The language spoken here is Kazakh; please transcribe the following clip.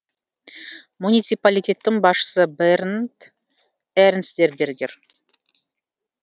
муниципалитеттің басшысы бернд эрнстбергер